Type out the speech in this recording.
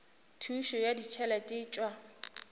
thušo ya ditšhelete e tšwa